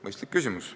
Mõistlik küsimus.